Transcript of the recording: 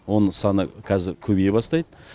оның саны қазір көбейе бастайды